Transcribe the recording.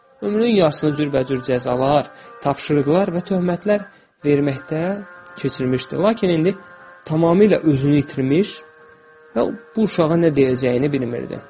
Ömrünün yarısını cürbəcür cəzalar, tapşırıqlar və töhmətlər verməkdə keçirmişdi, lakin indi tamamilə özünü itirmiş və bu uşağa nə deyəcəyini bilmirdi.